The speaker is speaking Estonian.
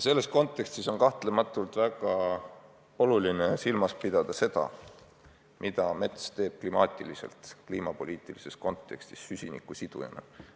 Selles kontekstis on kahtlemata väga oluline silmas pidada seda, mida mets teeb kliimapoliitilises kontekstis süsiniku sidujana.